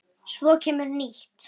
Svo kemur nýtt.